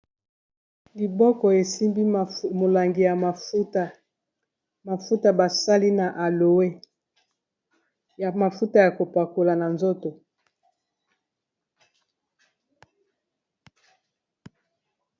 Liboko esimbi molangi ya mafuta, mafuta basali na aloe, eza mafuta ya kopakola na nzoto.